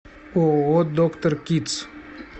ооо доктор кидс